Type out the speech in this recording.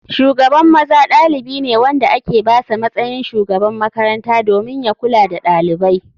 Shugaban maza ɗalibi ne wanda ake basa matsayin shugaban makaranta domin ya kula da ɗalibai.